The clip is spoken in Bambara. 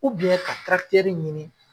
ka ɲini.